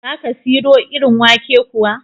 Za ka siro irin wake kuwa?